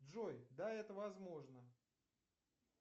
джой да это возможно